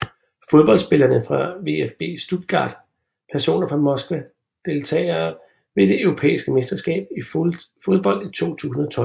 Fodboldspillere fra VfB Stuttgart Personer fra Moskva Deltagere ved det europæiske mesterskab i fodbold 2012